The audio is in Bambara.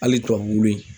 Hali tubabu in